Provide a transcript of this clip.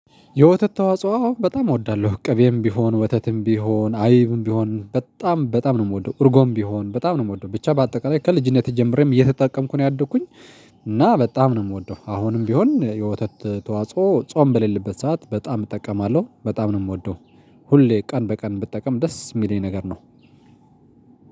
የወተት ተዋጽኦ አዎ በጣም እወዳለሁ ቅቤም ቢሆን ወተትም ቢሆን አይብም ቢሆን በጣም በጣም ነው የምወደው እርጎም ቢሆን በጣም ነው የምወደው ብቻ በአጠቃላይ ከልጅነቴ ጀምሬም እየተጠቀምኩ ነው ያደግኩኝ እና በጣም ነው የምወደው። አሁንም ቢሆን የወተት ተዋጽኦ ጾም በሌለበት ሰዓት በጣም እጠቀማለሁ በጣም ነው የምወደው። ሁሌ ቀን በቀን ብጠቀም ደስ የሚለኝ ነገር ነው።